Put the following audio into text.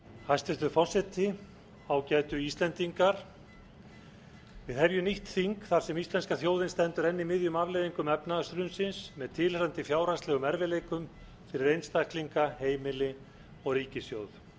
hæstvirtur forseti ágætu íslendingar við hefðum nýtt þing þar sem íslenska þjóðin stendur enn í miðjum afleiðingum efnahagshrunsins með tilheyrandi fjárhagslegum erfiðleikum fyrir einstaklinga heimili og ríkissjóð